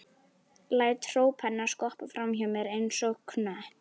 Læt hróp hennar skoppa fram hjá mér einsog knött.